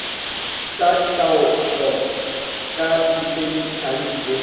tsa taolo ka dikhemikhale le